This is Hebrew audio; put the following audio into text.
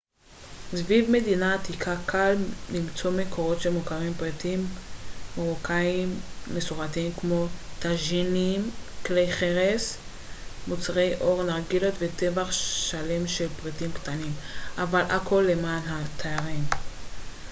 סביב מדינה העתיקה קל למצוא מקומות שמוכרים פריטים מרוקאים מסורתיים כמו טאג'ינים כלי חרס מוצרי עור נרגילות וטווח שלם של פריטים קטנים אבל הכל למען התיירים